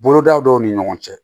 Boloda dɔw ni ɲɔgɔn cɛ